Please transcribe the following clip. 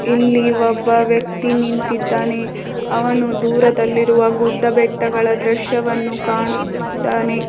ಇಲ್ಲಿ ಒಬ್ಬ ವ್ಯಕ್ತಿ ನಿಂತಿದ್ದಾನೆ ಅವನು ದೂರದಲ್ಲಿ ಇರುವ ಗುಡ್ಡ ಬೆಟ್ಟಗಳ ದೃಶ್ಯವನ್ನು ಕಾಣುತ್ತಿದ್ದಾನೆ.